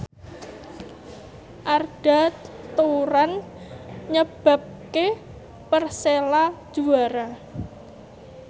Arda Turan nyebabke Persela juara